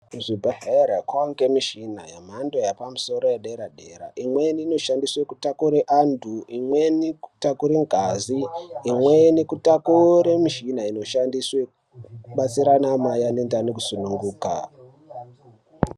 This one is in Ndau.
Kuzvibhedhleri kwange mishina yemhando yepamusoro edera dera imweni inoshandiswe kutakure antu imweni kutakure ngazi imweni kutakure mushina inoshandiswe kubatsire ana mai ane ndani kusunguka.